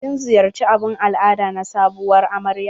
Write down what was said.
Kin ziyarci abun al'ada na sabuwar amarya?